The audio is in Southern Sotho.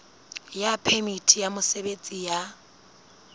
ya phemiti ya mosebetsi ya